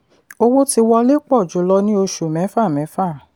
owó tí wọlé pọ̀ jù lọ ní oṣù mẹ́fà mẹ́fà.